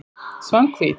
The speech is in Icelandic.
Svanhvít